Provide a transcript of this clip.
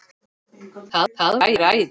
Það væri æði